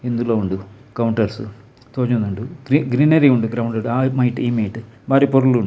ಇಂದುಲ ಉಂಡು ಕೌಂಟರ್ಸ್ ತೋಜೊಂದುಂಡು ಗ್ರೀ ಗ್ರೀನರಿ ಉಂಡು ಗ್ರೌಂಡು ಡು ಆ ಮೈಟ್ ಈ ಮೈಟ್ ಬಾರಿ ಪೊರ್ಲುಂಡು.